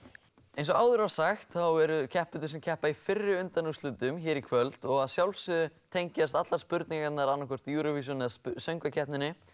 eins og áður var sagt þá eru keppendur sem keppa í fyrri undanúrslitum hér í kvöld og að sjálfsögðu tengjast allar spurningarnar Eurovision eða söngvakeppninni